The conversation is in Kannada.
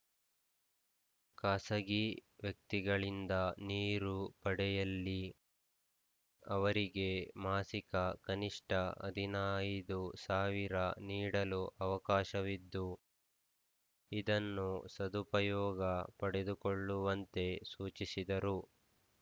ಖಾಸಗಿ ವ್ಯಕ್ತಿಗಳಿಂದ ನೀರು ಪಡೆಯಲ್ಲಿ ಅವರಿಗೆ ಮಾಸಿಕ ಕನಿಷ್ಠ ಹದಿನೈದು ಸಾವಿರ ನೀಡಲು ಅವಕಾಶವಿದ್ದು ಇದನ್ನು ಸದುಪಯೋಗ ಪಡೆದುಕೊಳ್ಳುವಂತೆ ಸೂಚಿಸಿದರು